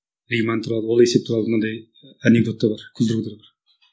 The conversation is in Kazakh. риман туралы ол есеп туралы мынандай анекдот да бар